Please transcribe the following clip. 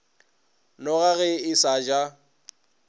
noga ge a sa ja